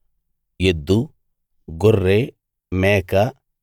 ఎద్దు గొర్రె మేక